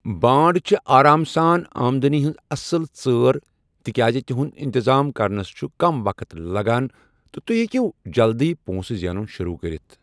بانڈ چھِ آرام سان آمدنی ہنز اصل ژٲر تِکیازِ تِہُنٛد انتظام کرنس چھِ کم وقت لگان تہٕ تُہۍ ہیكِیو جلدی پو٘نٛسہٕ زینُن شروع كرِتھ ۔